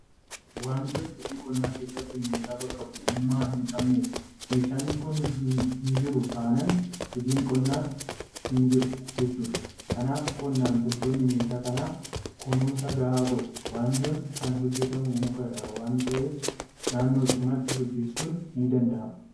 Wanjoon hojii qonnaa keessatti meeshaa bakka bu'ummaa hinqabnedha. Meeshaan kun hinjiru taanaan hojiin qonnaas hinjiru jechuudha. Kanaaf qonnaan bultoonni meeshaa kanaaf kunuunsa gahaa godhu. Wanjoon kan hojjetamu muka irraa waanta ta'eef naannoodhumatti hojjetachuun nidanda'ama.